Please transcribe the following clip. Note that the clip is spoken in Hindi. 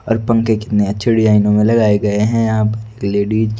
और पंखे कितने अच्छे डिजाइनों में लगाए गए हैं यहां पर लेडीज --